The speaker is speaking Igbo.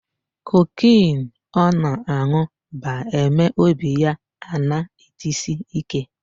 Cocaine ọ na-anụ ba-eme obi ya ana-etsi ike.